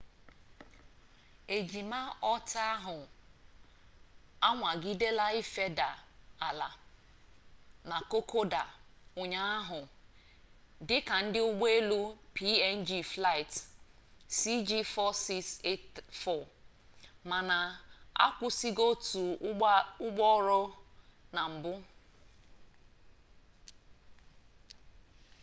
ejima otter ahụ anwagidela ifeda ala na kokoda ụnyaahụ dị ka ndị ụgbọ elu png flight cg4684 mana a kwụsigo otu ugboro na mbụ